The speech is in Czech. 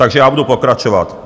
Takže já budu pokračovat.